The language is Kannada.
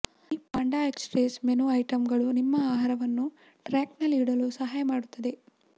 ಈ ಪಾಂಡ ಎಕ್ಸ್ಪ್ರೆಸ್ ಮೆನು ಐಟಂಗಳು ನಿಮ್ಮ ಆಹಾರವನ್ನು ಟ್ರ್ಯಾಕ್ನಲ್ಲಿ ಇಡಲು ಸಹಾಯ ಮಾಡುತ್ತದೆ